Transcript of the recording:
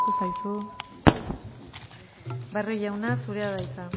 zaizu barrio jauna zurea da hitza